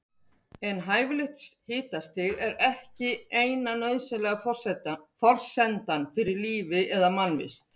En hæfilegt hitastig er ekki eina nauðsynlega forsendan fyrir lífi eða mannvist.